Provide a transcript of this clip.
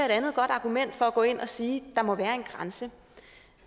et andet godt argument for at gå ind og sige der må være en grænse